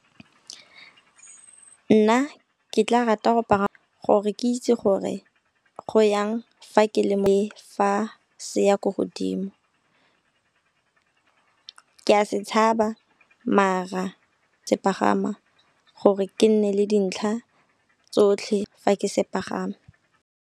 Nna ke tla rata go gore ke itse gore go yang fa ke le mo fa se ya ko godimo. Ke a se tshaba mara se pagama gore ke nne le dintlha tsotlhe fa ke se pagama.